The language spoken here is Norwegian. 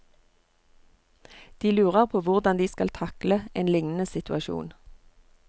De lurer på hvordan de skal takle en lignende situasjon.